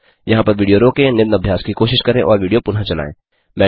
यहाँ पर विडियो रोकें निम्न अभ्यास की कोशिश करें और विडियो पुनः चलायें